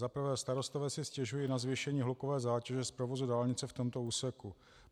Za prvé starostové si stěžují na zvýšení hlukové zátěže z provozu dálnice v tomto úseku.